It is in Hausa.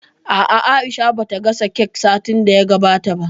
A'a, Aisha ba ta gasa kek satin da ya gabata ba